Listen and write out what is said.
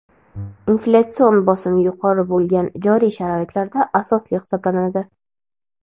inflyatsion bosim yuqori bo‘lgan joriy sharoitlarda asosli hisoblanadi.